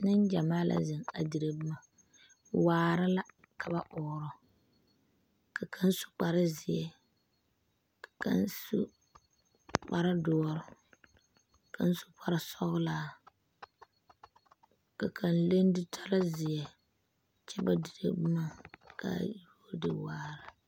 Neŋ gyamaa la a dire boma waare la ka ba ɔɔrɔ ka kaŋ su kparezeɛ ka kaŋ su kparedoɔre kaŋ su kparesɔglaa ka kaŋ leŋ zutare zeɛ kyɛ ba dire boma kaa yi wo ne waare.